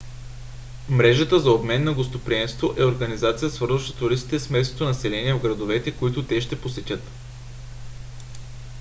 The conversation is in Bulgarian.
мрежата за обмен на гостоприемство е организацията свързваща туристите с местното население в градовете които те ще посетят